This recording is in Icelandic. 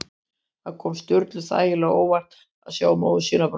Það kom Sturlu þægilega á óvart að sjá móður sína brosa.